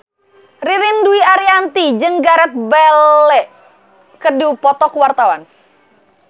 Ririn Dwi Ariyanti jeung Gareth Bale keur dipoto ku wartawan